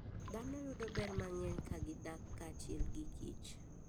Dhano yudo ber mang'eny ka gidak kanyachiel gi kich.